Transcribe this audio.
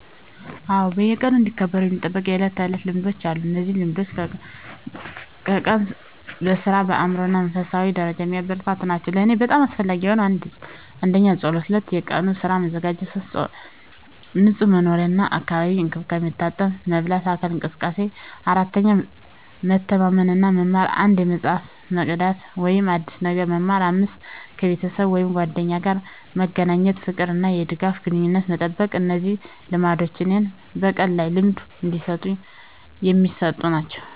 አዎ፣ በየቀኑ እንዲከበሩ የሚጠበቁ የዕለት ተዕለት ልማዶች አሉ። እነዚህ ልማዶች ቀኑን በሥራ፣ በአእምሮ እና በመንፈሳዊ ደረጃ የሚያበረታቱ ናቸው። ለእኔ በጣም አስፈላጊ የሆኑት: 1. ጸሎት 2. የቀኑን ሥራ መዘጋጀት 3. ንጹህ መኖሪያ እና የአካል እንክብካቤ፣ መታጠብ፣ መበላት፣ አካል እንቅስቃሴ። 4. መተማመን እና መማር፣ አንድ መጽሐፍ መቅዳት ወይም አዲስ ነገር መማር። 5. ከቤተሰብ ወይም ጓደኞች ጋር መገናኘት፣ የፍቅር እና የድጋፍ ግንኙነትን መጠበቅ። እነዚህ ልማዶች እኔን በቀኑ ላይ ልምድ የሚሰጡ ናቸው።